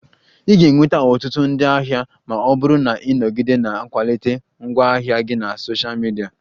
I ga-enweta ọtụtụ ndị ahịa ma ọ bụrụ na ị nọgide na-akwalite ngwaahịa gị na Sosha midia